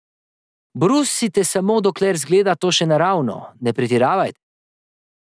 Brusite samo dokler zgleda to še naravno, ne pretiravajte.